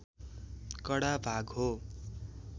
कडा भाग हो